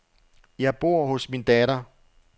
Jeg bor hos min datter.